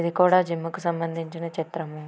ఇది కూడా జిమ్ కి సంబంధించిన చిత్రం.